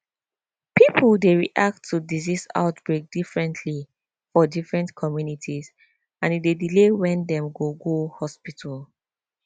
people dey react to disease outbreak differently for different communities and e dey delay when dem go go hospital